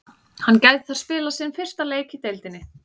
Hann gæti þar spilað sinn fyrsta leik í deildinni.